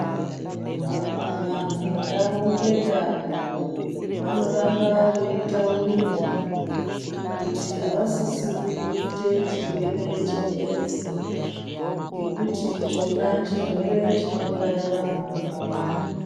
Vantu ndau ngendau vanoramba veitaurirwa kuti avasisiri kuite chirwere cheedzi ngekuti chona chirwere chinouraya vanhu vakawanda.